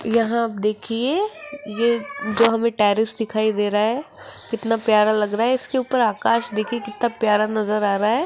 यहां आप देखिए ये जो हमें टेरिस दिखाई दे रहा है कितना प्यारा लग रहा है इसके ऊपर आकाश देखिए कितना प्यारा नजर आ रहा है।